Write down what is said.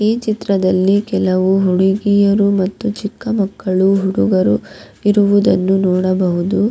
ಈ ಚಿತ್ರದಲ್ಲಿ ಕೆಲವು ಹುಡಿಗಿಯರು ಮತ್ತು ಚಿಕ್ಕ ಮಕ್ಕಳು ಹುಡುಗರು ಇರುವುದನ್ನು ನೋಡಬಹುದು.